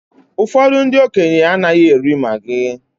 Ụfọdụ ndị okenye anaghị eri maggi